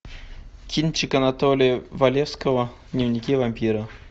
кинчик анатолия валевского дневники вампира